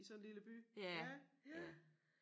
I sådan lille by ja ja